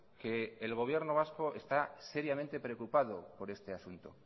que el gobierno vasco está seriamente preocupado por este asunto